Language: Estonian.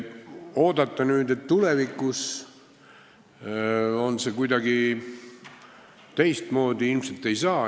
Oodata nüüd, et tulevikus on see kuidagi teistmoodi, pole ilmselt alust.